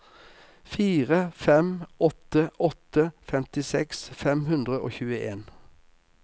fire fem åtte åtte femtiseks fem hundre og tjueen